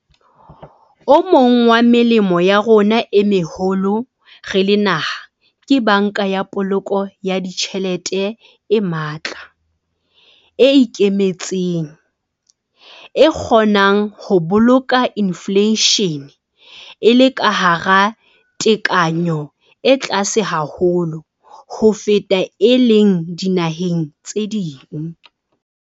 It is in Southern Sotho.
O mong wa melemo ya rona e meholo re le naha ke Banka ya Poloko ya Ditjhelete e matla, e ikemetseng, e kgonneng ho boloka infleishene e le ka hara tekanyo e tlase haholo ho feta e leng dinaheng tse ding.